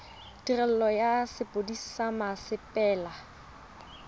tirelo ya sepodisi sa mmasepala